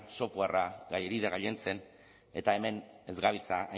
softwarea gailentzen eta hemen ez gabiltza